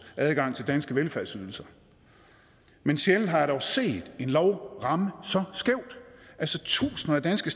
adgang til danske velfærdsydelser men sjældent har jeg dog set en lov ramme så skævt tusinder af danske